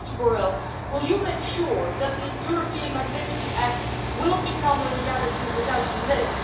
So, Mr Borrell, will you make sure that the European Magnitsky Act will become a reality without delay?